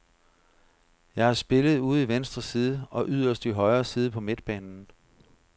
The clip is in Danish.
Jeg har spillet ude i venstre side og yderst i højre side på midtbanen.